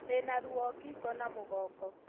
Ndĩna ruo ngingo na mũgongo